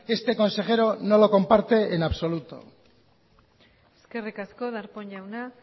este consejero no lo comparte en absoluto eskerrik asko darpón jauan